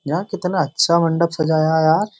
यहां कितना अच्छा मंडप सजाया यार।